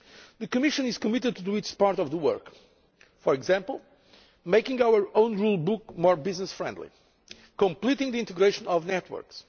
The Commission is committed to doing its share of the work for example, making our own rulebook more business friendly completing the integration of networks